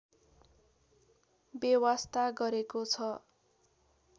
वेवास्ता गरेको छ